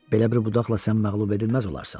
Belə bir budaqla sən məğlub edilməz olarsan.